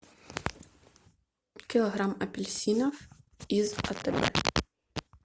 килограмм апельсинов из атб